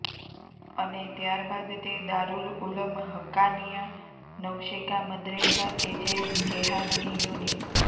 અને ત્યારબાદ તે દારૂલઉલમ હકકાનિયા નવસેકા મદ્રેસા કે જે જેહાદની યુનિ